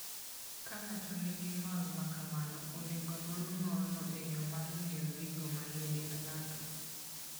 Ka ng'ato nigi ng'ol ma kamano, onego onon ng'olno e yo mar ng'iyo gigo manie dend ng'ato.